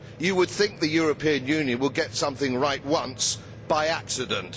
You would think the European Union would get something right once by accident.